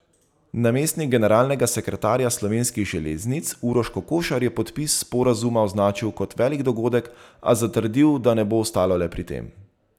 Namestnik generalnega sekretarja Slovenskih železnic Uroš Kokošar je podpis sporazuma označil kot velik dogodek, a zatrdil, da ne bo ostalo le pri tem.